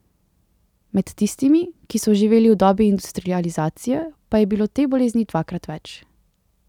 Med tistimi, ki so živeli v dobi industrializacije, pa je bilo te bolezni dvakrat več.